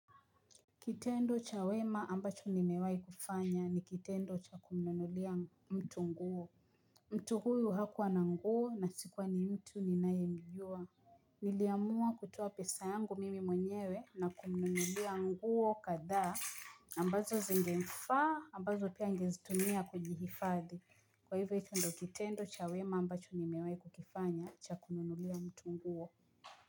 Kitendo cha wema ambacho nimewai kufanya ni kitendo cha kumnunulia mtu nguo. Mtu huyu hakuwa na nguo na sikuwa ni mtu ninayemjua. Niliamua kutoa pesa yangu mimi mwenyewe na kumnunulia nguo kadhaa ambazo zingemfa ambazo pia angezitumia kujihifadhi. Kwa hivyo hicho ndo kitendo cha wema ambacho nimewai kukifanya cha kumnunulia mtu nguo.